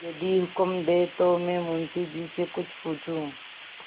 यदि हुक्म दें तो मैं मुंशी जी से कुछ पूछूँ